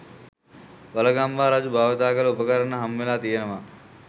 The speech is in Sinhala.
වළගම්බා රජු භාවිතා කළ උපකරණ හම්බවෙලා තියනවා.